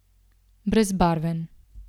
Brezbarven.